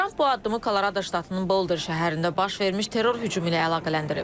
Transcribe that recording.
Tramp bu addımı Kolorada ştatının Boulder şəhərində baş vermiş terror hücumu ilə əlaqələndirib.